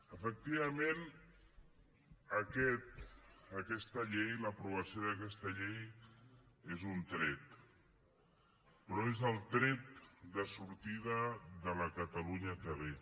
efectivament aquesta llei l’aprovació d’aquesta llei és un tret però és el tret de sortida de la catalunya que ve